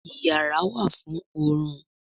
iyàrá wá fún orun.